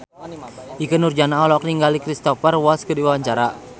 Ikke Nurjanah olohok ningali Cristhoper Waltz keur diwawancara